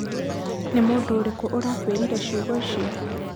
nĩ mũndũ ũrĩkũ ũrakuĩrire ciugo icio?